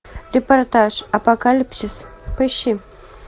репортаж апокалипсис поищи